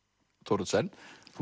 Thoroddsen þú